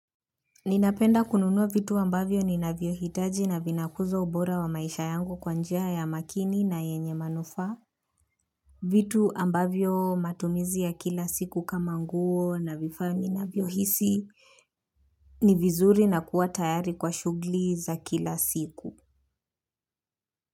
Ninapenda kununua vitu ambavyo ninavyo hitaji na vinakuzo ubora wa maisha yangu kwa njia ya makini na yenye manufaa. Vitu ambavyo matumizi ya kila siku kama nguo na vifaa ninavyo hisi. Ni vizuri na kuwa tayari kwa shughli za kila siku.